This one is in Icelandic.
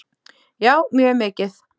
Já, mjög mikið.